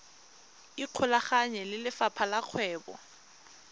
ikgolaganye le lefapha la kgwebo